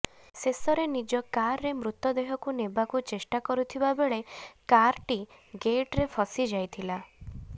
ଶେଷରେ ନିଜ କାର୍ରେ ମୃତଦେହକୁ ନେବାକୁ ଚେଷ୍ଟା କରୁଥିବାବେଳେ କାର୍ଟି ଗେଟ୍ରେ ଫସି ଯାଇଥିଲା